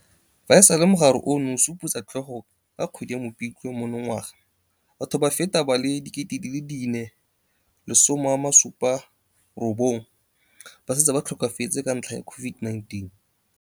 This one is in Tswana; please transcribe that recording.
Fa e sale mogare ono o supotsa tlhogo ka kgwedi ya Mopitlwe monongwaga, batho ba feta ba le 4 079 ba setse ba tlhokafetse ka ntlha ya COVID-19.